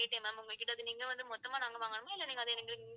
ma'am உங்ககிட்ட வந்து நீங்க வந்து மொத்தமா நாங்க வாங்கணுமா